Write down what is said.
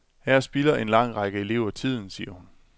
Her spilder en lang række elever tiden, siger hun.